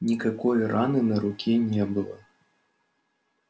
никакой раны на руке не было